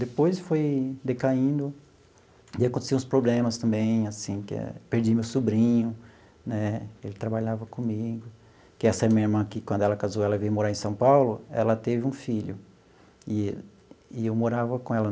Depois foi decaindo e acontecia os problemas também, assim que é, perdi meu sobrinho né, ele trabalhava comigo, que essa minha irmã aqui, quando ela casou, ela veio morar em São Paulo, ela teve um filho e e eu morava com ela.